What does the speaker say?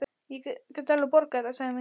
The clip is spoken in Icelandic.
Ég get alveg borgað þetta, Sæmi.